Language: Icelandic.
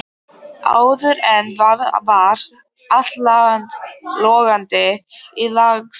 Áður en varði var allt logandi í slagsmálum.